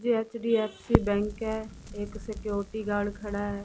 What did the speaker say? ये HDFC bank है। एक सिक्योरिटी गार्ड खड़ा है।